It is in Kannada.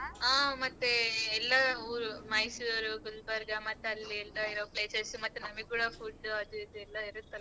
ಆ ಮತ್ತೆ ಎಲ್ಲಾ ಊರು ಮೈಸೂರು ಗುಲ್ಬರ್ಗ ಮತ್ ಅಲ್ಲಿ ಎಲ್ಲಾ ಇರೋ places ಉ ಮತ್ತೆ ನಮಿಗ್ ಕೂಡ food ಅದು ಇದು ಎಲ್ಲಾ ಇರತ್ತಲ್ಲ.